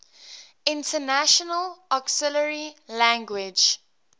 international auxiliary language